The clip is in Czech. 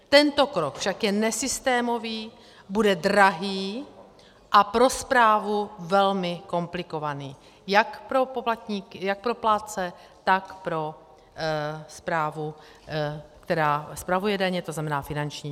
Tento krok však je nesystémový, bude drahý a pro správu velmi komplikovaný, jak pro plátce, tak pro správu, která spravuje daně, to znamená finanční.